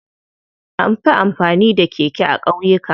Anfi amfani da keke a ƙauyuka.